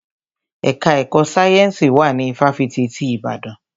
Ẹka ẹ̀kọ́ sáyẹ́nsì wà ní ifáfitì ti Ìbàdàn.